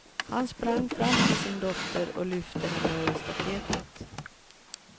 Han sprang fram till sin dotter och lyfte henne över staketet.